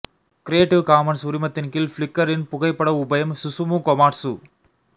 creative Commons உரிமத்தின் கீழ் Flickr இன் புகைப்பட உபயம் சுசுமு கோமாட்சு